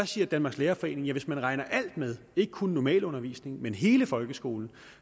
siger danmarks lærerforening at hvis man regner alt med ikke kun normalundervisning men hele folkeskolen